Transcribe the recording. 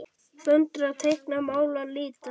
Föndra- teikna- mála- lita